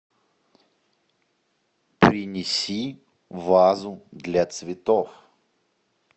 принеси вазу для цветов